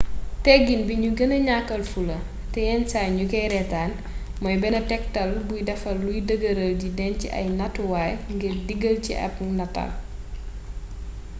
tegin bi nu gëna ñàkkaal fula te yen saay ñ kay reetaan mooy benn tegtal buy defar luy dëgëral di denc ay nattuwaay ngir diggal ci ab nataal